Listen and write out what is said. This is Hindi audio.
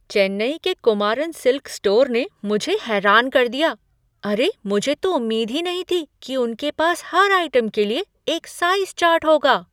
चेन्नई के कुमारन सिल्क स्टोर ने मुझे हैरान कर दिया। अरे मुझे तो उम्मीद ही नहीं थी कि उनके पास हर आइटम के लिए एक साइज़ चार्ट होगा!